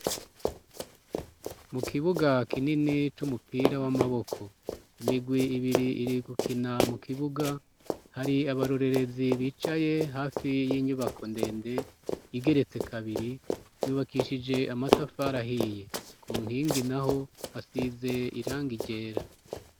mu kibuga kinini c'umupira w'amaboko imigwi ibiri iri gukina mu kibuga hari abarorerezi bicaye hafi y'inyubako ndende igeretse kabiri yubakishije amatafara ahiye ku nkingi naho hasize irang igera